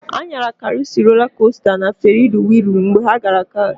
Ha nyara karusịl, rolaa kosta na ferisi wịịlụ mgbe ha gara paakị.